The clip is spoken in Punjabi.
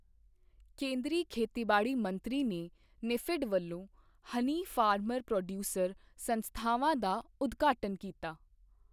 ਕੇਂਦਰੀ ਖੇਤੀਬਾੜੀ ਮੰਤਰੀ ਨੇ ਨੇਫ਼ੇਡ ਵੱਲੋਂ ਹਨੀ ਫਾਰਮਰ ਪ੍ਰੋਡਯੂਸਰ ਸੰਸਥਾਵਾਂ ਦਾ ਉਦਘਾਟਨ ਕੀਤਾ